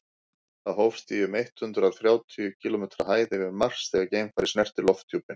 það hófst í um eitt hundruð þrjátíu kílómetri hæð yfir mars þegar geimfarið snerti lofthjúpinn